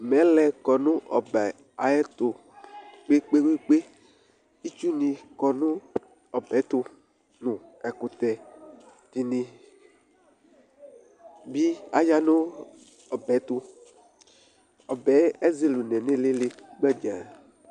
Mɛlɛ ƙɔ nʋ ɔbɛ aƴɛtʋ ƙƥeƙpeƙpeItsu nɩ ƙɔ nʋ ɔbɛ tʋ ɖʋ nʋ ɛƙʋtɛ ɖɩ nɩ bɩ aya nʋ ɔbɛ tʋƆbɛ ƴɛ ezele une nʋ ɩlɩlɩ gbǝɖzǝ